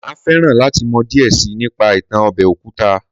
Màá féràn láti mọ díẹ̀ síi nípa ìtàn ọbẹ̀ òkúta